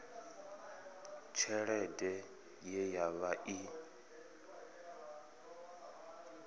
tshelede ye ya vha i